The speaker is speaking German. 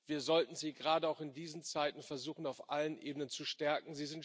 Wir sollten gerade auch in diesen Zeiten versuchen, sie auf allen Ebenen zu stärken.